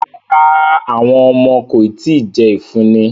Rara, awọn ọmọ ko ti jẹ ifunni